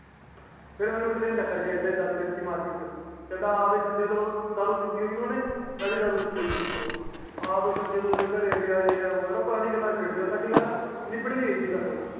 ਫੇਰ ਮੈਨੂੰ ਇਕ ਦਿਨ ਟੱਕਰ ਗਯਾ ਏਥ੍ਹੇ ਹੀ ਮਾਰਕੀਟ ਛੇ ਤੇ ਕਹਿੰਦਾ ਹੈ ਵੀ ਸੰਜੇ ਦਾਰੂ ਪਿੱਟੀ ਹੋਈ ਸੀ ਓਹਨੇ ਮਈ ਵੀ ਦਾਰੂ ਪਿੱਟੀ ਹੋਇ ਸੀ ਉੱਪਰੋਂ ਕਹਿੰਦਾ ਹੈ ਵੀ ਸੰਜੇ ਤੂੰ ਉਂਦੇ ਘਰੇ ਗਯਾ ਇਹਹੈ ਉਹ ਹੈ ਕਿਦਾ ਹੀ ਛੇੜ ਲਿਆ ਅੰਨੁ ਜਿਵੇ ਪਤਾ ਨੀ ਕੀੜੀ ਗੱਲ ਹੈ ਨਿੱਬੜ ਭੀ ਗਈ ਸੀ ਗੱਲ ਉਹ